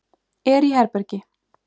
Er í herbergi.